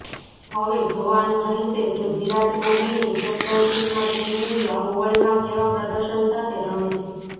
હવે જોવાનું રહેશે કે વિરાટ કોહલીની કેપ્ટનશીપમાં ટીમ ઈન્ડીયા ઓવલમાં કેવા પ્રદર્શન સાથે રમે છે